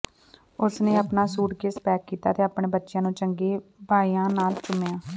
ਉਸਨੇ ਆਪਣਾ suitcase pack ਕੀਤਾ ਅਤੇ ਆਪਣੇ ਬੱਚਿਆਂ ਨੂੰ ਚੰਗੇ ਬਾਈਆਂ ਨਾਲ ਚੁੰਮਿਆ